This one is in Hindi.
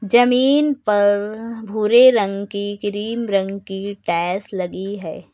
जमीन पर भूरे रंग की क्रीम रंग की टाइल्स लगी है।